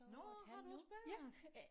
Nåh har du også børn?